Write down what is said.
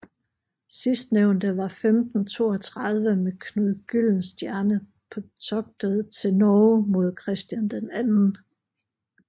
Sidstnævnte var 1532 med Knud Gyldenstierne på toget til Norge mod Christian II